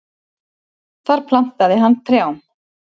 Þar plantaði hann trjám.